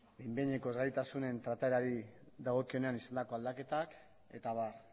behin behineko ezgaitasunen trataerari dagokionean izandako aldaketak eta abar